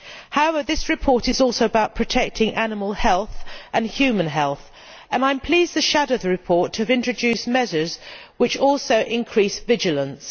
However, this report is also about protecting animal health and human health, and I am pleased the report has introduced measures which also increase vigilance.